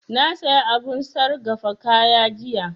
Na saya abun sargafa kaya jiya